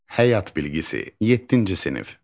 Həyat bilgisi, yeddinci sinif.